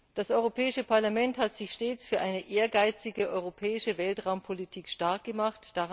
Das Europäische Parlament hat sich stets für eine ehrgeizige europäische Weltraumpolitik stark gemacht.